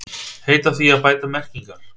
Heita því að bæta merkingar